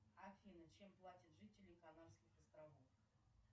афина чем платят жители канарских островов